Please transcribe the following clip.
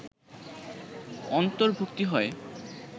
অর্ন্তভুক্তি হয়